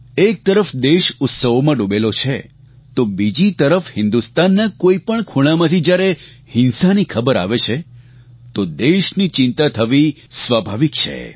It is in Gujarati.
એક તરફ દેશ ઉત્સવોમાં ડૂબેલો છે તો બીજી તરફ હિન્દુસ્તાનના કોઈપણ ખૂણામાંથી જ્યારે હિંસાની ખબર આવે છે તો દેશને ચિંતા થવી સ્વાભાવિક છે